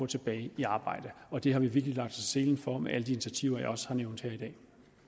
tilbage i arbejde og det har vi virkelig lagt selen for med alle de initiativer jeg